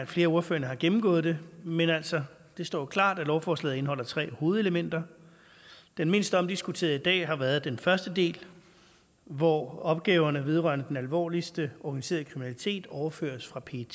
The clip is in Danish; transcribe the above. flere af ordførerne har gennemgået det men altså det står jo klart at lovforslaget indeholder tre hovedelementer det mindst omdiskuterede i dag har været den første del hvor opgaverne vedrørende den alvorligste organiserede kriminalitet overføres fra pet